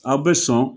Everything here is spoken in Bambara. Aw bɛ sɔn